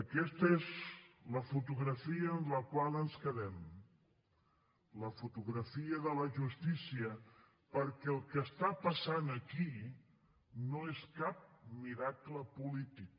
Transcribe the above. aquesta és la fotografia amb la qual ens quedem la fotografia de la justícia perquè el que està passant aquí no és cap miracle polític